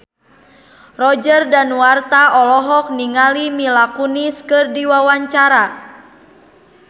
Roger Danuarta olohok ningali Mila Kunis keur diwawancara